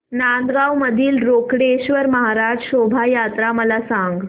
नांदगाव मधील रोकडेश्वर महाराज शोभा यात्रा मला सांग